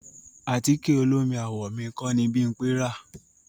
Àtíkẹ̀ olómi àwọ̀ mi kọ́ ni Bímpẹ rà.